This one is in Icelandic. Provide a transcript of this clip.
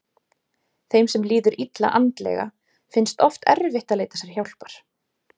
Þeim sem líður illa andlega finnst oft erfitt að leita sér hjálpar.